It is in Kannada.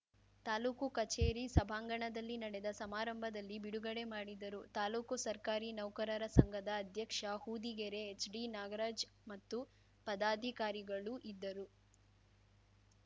ತಾಲೂಕು ಕಚೇರಿ ಸಭಾಂಗಣದಲ್ಲಿ ನಡೆದ ಸಮಾರಂಭದಲ್ಲಿ ಬಿಡುಗಡೆ ಮಾಡಿದರು ತಾಲೂಕು ಸರ್ಕಾರಿ ನೌಕರರ ಸಂಘದ ಅಧ್ಯಕ್ಷ ಹೊದಿಗೆರೆ ಎಚ್‌ಡಿನಾಗರಾಜ್‌ ಮತ್ತು ಪದಾಧಿಕಾರಿಗಳು ಇದ್ದರು